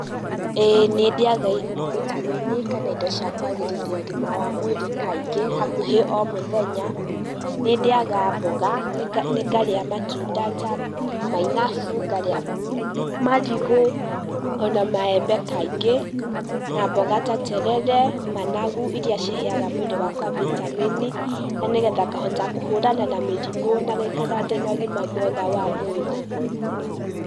Ĩĩ nĩ ndĩaga bitameni kana indo cia kwagĩrithi ũgima wa mwĩrĩ kaingĩ hakuhĩ omũthenya, nĩ ndĩaga mboga, ngarĩa matunda ta mainabu, ngarĩa marigũ ona maembe kaingĩ, na mboga ta terere, managu, iria ciheaga mwĩrĩ wakwa bitameni. Na nĩgetha ngahota kũhũrana na mĩrimũ na gũikara ndĩna ũgima mwega wa mwĩrĩ.